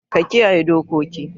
Ka kiyaye dokoki.